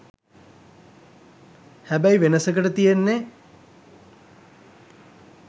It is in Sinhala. හැබැයි වෙනසකට තියෙන්නෙ